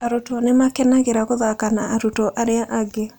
Arutwo nĩ makenagĩra gũthaka na arutwo arĩa angĩ.